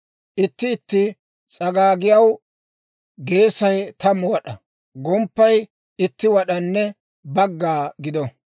Itti itti s'agaagiyaw geesay tammu wad'aa, gomppay itti wad'anne bagga gido.